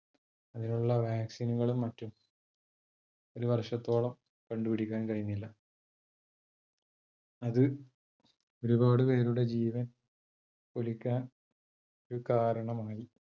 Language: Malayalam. അതിനുള്ള vaccine കളും മറ്റും ഒരു വർഷത്തോളം കണ്ടു പിടിക്കാൻ കഴിഞ്ഞില്ല. അത് ഒരുപാട് പേരുടെ ജീവൻ പൊലിക്കാൻ ഒരു കാരണമായി.